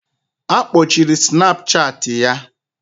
Akpochiri Snapchat ya